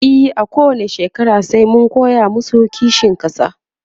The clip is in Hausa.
e a kowani shekara sai mun koya masu kishin ƙasa